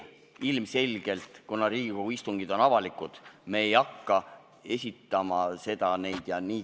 Aga kuna Riigikogu istungid on avalikud, ei hakka me neid siin esitama.